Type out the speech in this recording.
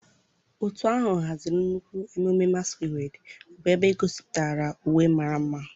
Òtù ahụ haziri nnukwu ememme masquerade, bụ́ ebe e gosipụtara uwe mara mma.